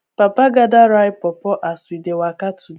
papa gather ripe pawpaw as we dey waka to